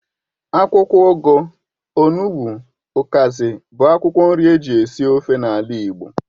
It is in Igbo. Akwụkwọ ugu, onụgbu, ukazi bụ akwụkwọ nri eji esi ofe n'ala igbo.